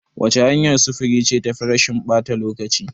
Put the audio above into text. Wace hanyar sufuri ce tafi rashin ɓata lokaci?